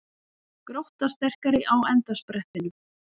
Grótta sterkari á endasprettinum